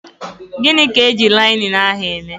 Gịnị ka eji linenu ahụ eme?